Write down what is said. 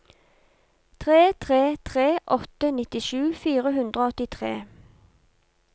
tre tre tre åtte nittisju fire hundre og åttitre